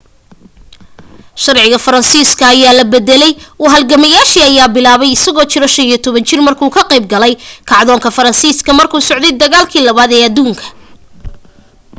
sharciga faraansiska ayaa la bedelay u halgameyadiisa ayaa bilaabatay isagoo jiro 15 jir markuu ka qayb galay kacdoonka fransiiska markuu socday dagaalkii 2aad ee aduunka